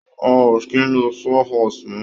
Wọn ò kì í lo saw horse mọ́.